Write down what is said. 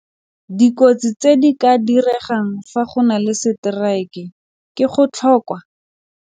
Dikotsi tse di ka diregang fa go na le strike ke go tlhoka.